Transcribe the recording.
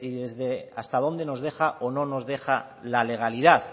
desde hasta dónde nos deja o no nos deja la legalidad